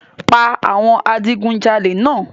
Pa awọn adigunjale náà!